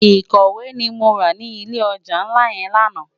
Ikòwé ni mó rá ni ilé òjá nlá yèn làná